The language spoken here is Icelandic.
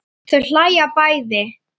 Þau hlæja bæði.